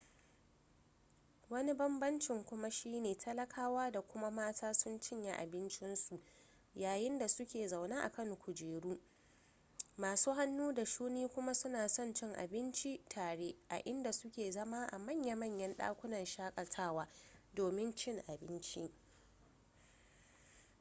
wani banbamcin kuma shi ne talakawa da kuma mata sun cinye abincinsu yayin da suke zaune a kan kujeru masu hannu da shuni kuma suna son cin abinci tare a inda suke zama a manya-manyan dakunan shakatawa domin cin abincin